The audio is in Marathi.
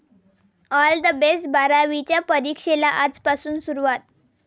All the best! बारावीच्या परीक्षेला आजपासून सुरुवात